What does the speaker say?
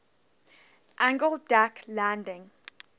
angled deck landing